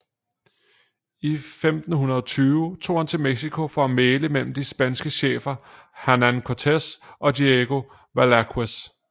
I 1520 tog han til Mexico for at mægle mellem de spanske chefer Hernán Cortés og Diego Velázquez